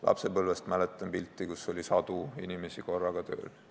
Lapsepõlvest mäletan, kui oli sadu inimesi korraga tööl.